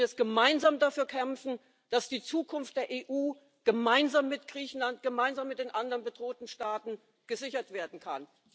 Wir müssen jetzt gemeinsam dafür kämpfen, dass die Zukunft der EU gemeinsam mit Griechenland, gemeinsam mit den anderen bedrohten Staaten gesichert werden kann.